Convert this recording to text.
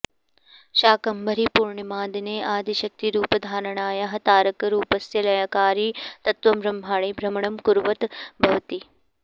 शाकाम्भरीपूर्णिमादिने आदिशक्तिरूपधारणायाः तारकरूपस्य लयकारि तत्त्वं ब्रह्माण्डे भ्रमणं कुर्वत् भवति